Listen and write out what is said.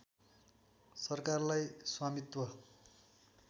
सरकारलाई स्वामित्व